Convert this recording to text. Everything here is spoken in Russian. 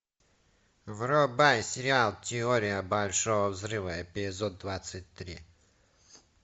врубай сериал теория большого взрыва эпизод двадцать три